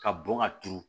Ka bɔn ka turu